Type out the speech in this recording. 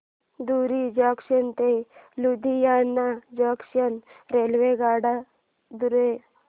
धुरी junction ते Ludhiana junction रेल्वेगाड्यां द्वारे